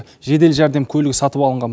жедел жәрдем көлігі сатып алынған болатын